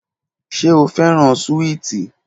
Ṣe o fẹran suwiti?